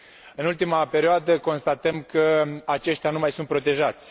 În ultima perioadă, constatăm că aceștia nu mai sunt protejați.